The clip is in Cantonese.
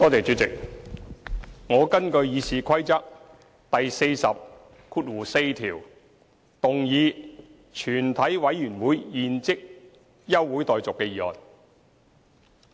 主席，我根據《議事規則》第404條，動議"全體委員會現即休會待續"的議案。